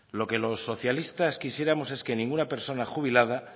lo que los socialistas quisiéramos es que ninguna persona jubilada